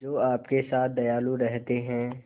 जो आपके साथ दयालु रहते हैं